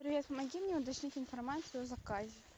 привет помоги мне уточнить информацию о заказе